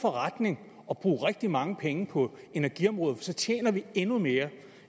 forretning at bruge rigtig mange penge på energiområdet for så tjener vi endnu mere